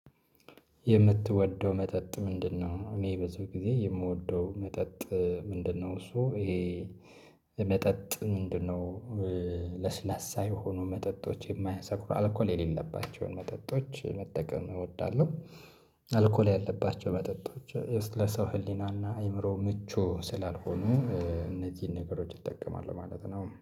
የምትወደው መጠጥ ምንድነው? እኔ በዚህ ጊዜ የምወደው መጠጥ ምንድነው እሱ ይሄ መጠጥ ምንድነው? ለስላሳ የሆኑ መጠጦች የማያሰክሩ አልኮል የሌለባቸውን መጠጦች መጠቀም እወዳለሁ። አልኮል ያለባቸው መጠጦች። ለሰው ህሊናና አይምሮ ምቹ ስላልሆኑ እነዚህን ነገሮች እጠቀማለሁ ማለት ነው